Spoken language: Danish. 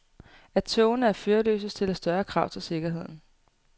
At togene er førerløse stiller større krav til sikkerheden.